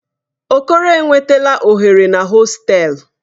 Okoro enwetala oghere na hostelu.